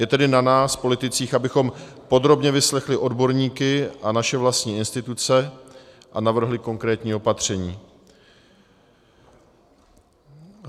Je tedy na nás politicích, abychom podrobně vyslechli odborníky a naše vlastní instituce a navrhli konkrétní opatření.